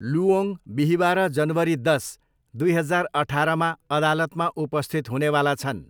लुओङ बिहीबार जनवरी दस, दुई हजार अठारमा अदालतमा उपस्थित हुनेवाला छन्।